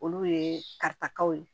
Olu ye katakaw ye